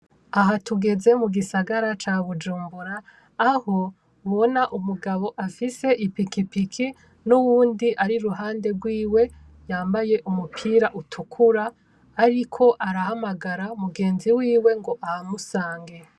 Aha tugeze mu gisagara ca Bujumbura aho mubona umugabo afise ipikipiki n'uyundi ari iruhande yiwe yambaye umupira utukura ariko arahamagara mugenzi wiwe ngo ahamusange.